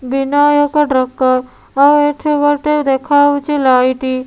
ବିନାୟକ ଡ୍ରକର ଆଉ ଏଠି ଗୋଟେ ଦେଖାହଉଚି ଲାଇଟି --